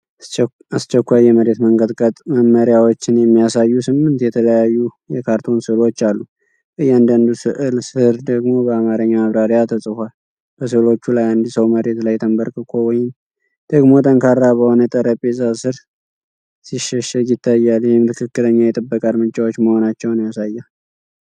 አስቸኳይ የመሬት መንቀጥቀጥ መመሪያዎችን የሚያሳዩ ስምንት የተለያዩ የካርቱን ስዕሎች አሉ፤ በእያንዳንዱ ስዕል ስር ደግሞ በአማርኛ ማብራሪያ ተጽፏል። በስዕሎቹ ላይ አንድ ሰው መሬት ላይ ተንበርክኮ ወይም ደግሞ ጠንካራ በሆነ ጠረጴዛ ስር ሲሸሸግ ይታያል፤ ይህም ትክክለኛ የጥበቃ እርምጃዎች መሆናቸውን ያሳያል።